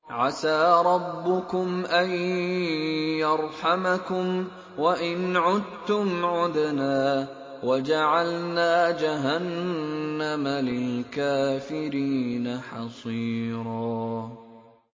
عَسَىٰ رَبُّكُمْ أَن يَرْحَمَكُمْ ۚ وَإِنْ عُدتُّمْ عُدْنَا ۘ وَجَعَلْنَا جَهَنَّمَ لِلْكَافِرِينَ حَصِيرًا